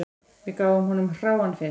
Við gáfum honum hráan fisk